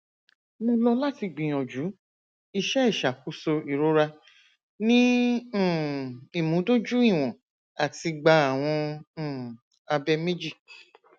mo lọ lati gbiyanju iṣẹ iṣakoso irora ni um imudojuiwọn ati gba awọn um abẹ meji